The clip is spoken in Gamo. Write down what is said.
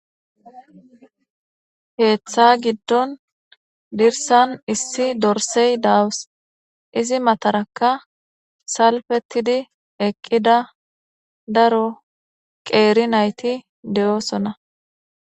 heeththa giddon dirsan issi dorsey dawus izi mataraka salfetidi eqqida daro qeeri nayti de7osona